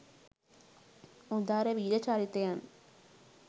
උදාර වීර චරිතයන්